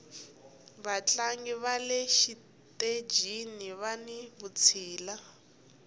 vatlangi vale xitejini vani vutshila